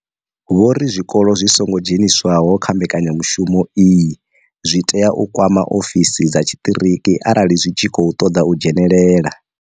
Vho ri zwikolo zwi songo dzheniswaho kha mbekanyamushumo iyi zwi tea u kwama ofisi dza tshiṱiriki arali zwi tshi khou ṱoḓa u dzhenela.